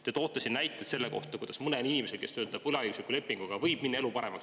Te toote siin näiteid selle kohta, kuidas mõnel inimesel, kes töötab võlaõigusliku lepinguga, võib minna elu paremaks.